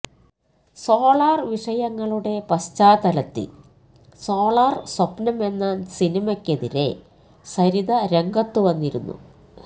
solar വിഷയങ്ങളുടെ പശ്ചാത്തലത്തിൽ solar സ്വപ്നം എന്ന സിനിമയ്ക്കെതിരെ സരിത രംഗത്ത് വന്നിരുന്നു